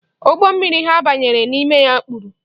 Ụgbọ mmiri ha banyere n'ime ya kpuru.